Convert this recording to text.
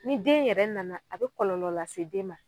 Ni den yɛrɛ nana a be kɔlɔlɔ lase den ma